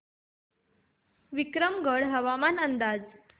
विक्रमगड हवामान अंदाज